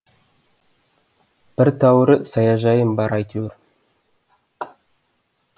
бір тәуірі саяжайым бар әйтеуір